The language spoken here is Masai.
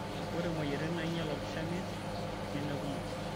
Ore moyiaritin nainyal olkishamiet nemekumok.